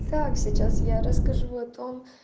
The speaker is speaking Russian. так сейчас я расскажу о том